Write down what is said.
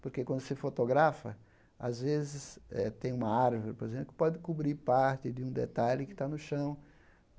Porque, quando você fotografa, às vezes eh tem uma árvore, por exemplo, que pode cobrir parte de um detalhe que está no chão.